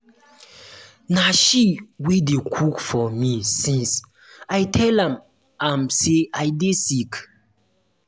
na she wey dey cook for me since i tell am am say i dey sick